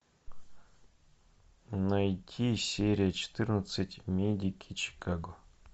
найти серия четырнадцать медики чикаго